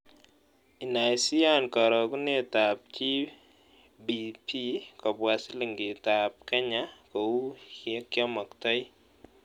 Inaisiiyaan karogunetap gbp kobwa silingitap kenya kou yekyaamoktoi